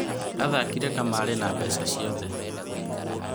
Aathakire kamarĩ na mbeca ciake ciothe.